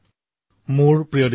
বিদ্যা বিনয় উপেতা হৰতি